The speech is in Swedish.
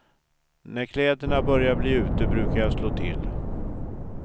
När kläderna börjar bli ute brukar jag slå till.